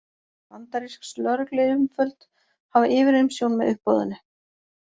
Bandarísk lögregluyfirvöld hafa yfirumsjón með uppboðinu